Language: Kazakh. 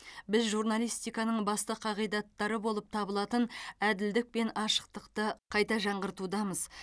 біз журналистиканың басты қағидаттары болып табылатын әділдік пен ашықтықты қайта жаңғыртудамыз